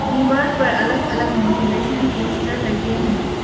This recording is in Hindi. दीवार पर अलग अलग मोटिवेशनल पोस्टर लगे हैं।